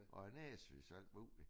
Og er næsvise og alt muligt